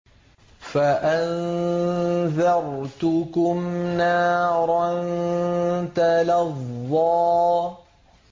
فَأَنذَرْتُكُمْ نَارًا تَلَظَّىٰ